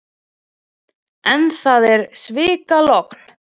En það er svikalogn.